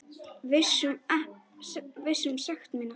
Viss um sekt mína.